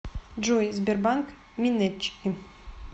джой сбербанк минетчики